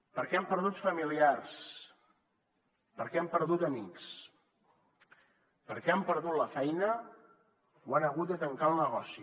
perquè han perdut familiars perquè han perdut amics perquè han perdut la feina o han hagut de tancar el negoci